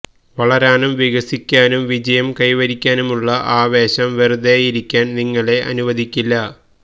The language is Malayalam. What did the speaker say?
വളരാനും വികസിക്കാനും വിജയം കൈവരിക്കാനുമുള്ള ആവേശം വെറുതേയിരിക്കാൻ നിങ്ങളെ അനുവദിക്കില്ല